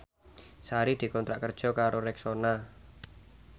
Sari dikontrak kerja karo Rexona